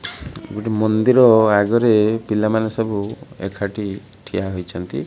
ଗୋଟେ ମନ୍ଦିର ଆଗରେ ପିଲାମାନେ ସବୁ ଏକାଠି ଠିଆ ହୋଇଛନ୍ତି।